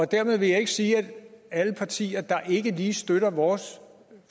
dermed vil jeg ikke sige at alle partier der ikke lige støtter vores